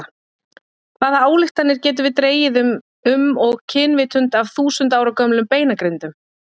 Hvaða ályktanir getum við dregið um og kynvitund af þúsund ára gömlum beinagrindum?